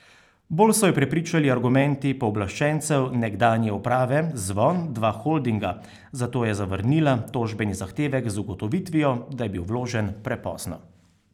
Bolj so jo prepričali argumenti pooblaščencev nekdanje uprave Zvon Dva Holdinga, zato je zavrnila tožbeni zahtevek z ugotovitvijo, da je bil vložen prepozno.